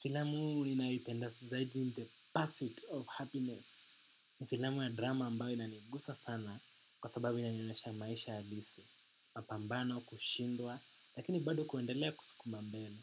Filamu uu ininawipenda si zaidi in the pursuit of happiness. Ni filamu ya drama ambao inanigusa sana kwa sababu inanyonesha maisha abisi. Mapambano kushindwa lakini bado kuendelea kusukuma mbele.